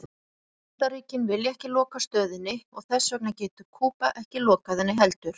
Bandaríkin vilja ekki loka stöðinni og þess vegna getur Kúba ekki lokað henni heldur.